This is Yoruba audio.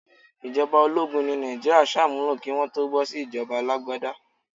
Ìjọba ológun ni Nàìjíríà sàmúlò kí Wọ́n tó bọ́ sí ìjọba alágbádá.